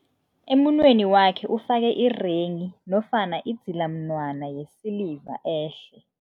Emunweni wakhe ufake irenghi nofana idzilamunwana yesiliva ehle.